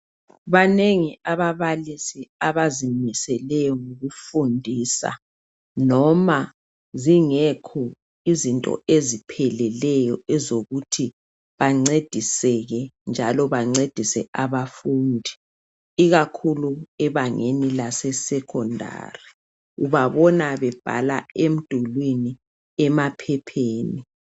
Banengi ababalisi abazimiseleyo ngokufundisa noma zingekho izinto ezipheleleyo ezokuthi bancediseke njalo bancedise abafundi , ikakhulu ebangeni lase sekhondari ubabona bebhala emdulini emaphepheni.